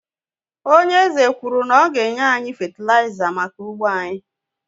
Ònye eze kwuru na ọ ga-enye anyị fétilaiza maka ugbo anyị